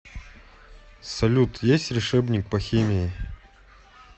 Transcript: салют есть решебник по химии